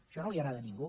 això no li agrada a ningú